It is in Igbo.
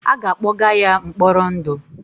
A ga-akpọga ya mkpọrọ ndụ.